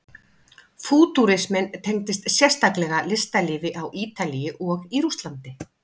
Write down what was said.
Fútúrisminn tengdist sérstaklega listalífi á Ítalíu og í Rússlandi.